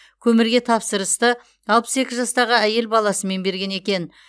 көмірге тапсырысты алпыс екі жастағы әйел баласымен берген екен